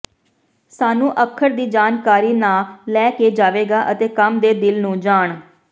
ਸਾਨੂੰ ਅੱਖਰ ਦੀ ਜਾਣਕਾਰੀ ਨਾ ਲੈ ਕੇ ਜਾਵੇਗਾ ਅਤੇ ਕੰਮ ਦੇ ਦਿਲ ਨੂੰ ਜਾਣ